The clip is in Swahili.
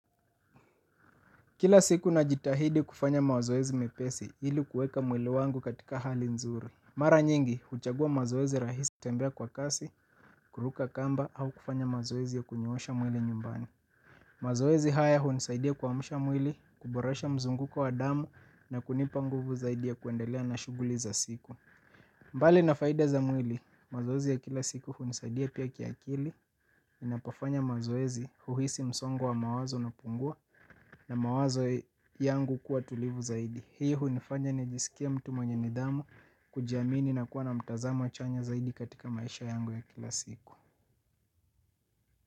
Kila siku najitahidi kufanya mazoezi mepesi ili kueka mwili wangu katika hali nzuri. Mara nyingi, huchagua mazoezi rahisi kutembea kwa kasi, kuruka kamba au kufanya mazoezi ya kunyoosha mwili nyumbani. Mazoezi haya hunisaidia kuamsha mwili, kuboresha mzunguko wa damu na kunipa nguvu zaidi ya kuendelea na shughuli za siku. Mbali na faida za mwili, mazoezi ya kila siku hunisaidia pia kiakili, ninapofanya mazoezi, huhisi msongo wa mawazo unapungua. Na mawazo yangu kuwa tulivu zaidi. Hii hunifanya nijiskie mtu mwenye nidhamu. Kujiamini na kuwa na mtazamo chanya zaidi katika maisha yangu ya kila siku.